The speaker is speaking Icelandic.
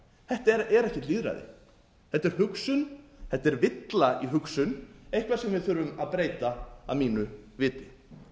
þetta er ekkert lýðræði þetta er hugsunþetta er villa í hugsun eitthvað sem við þurfum að breyta að mínu viti